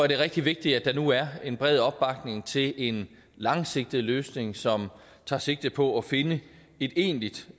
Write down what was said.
det er rigtig vigtigt at der nu er bred opbakning til en langsigtet løsning som tager sigte på at finde et egentligt